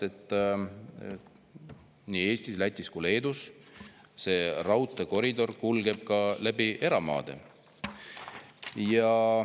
Nii Eestis, Lätis kui ka Leedus kulgeb see raudteekoridor ka läbi eramaade.